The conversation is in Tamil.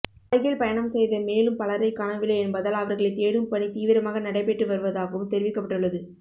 படகில் பயணம் செய்த மேலும் பலரை காணவில்லை என்பதால் அவர்களை தேடும் பணி தீவிரமாக நடைபெற்று வருவதாகவும் தெரிவிக்கப்பட்டுள்ளது